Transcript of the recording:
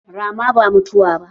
Rama ba mutuwa ba.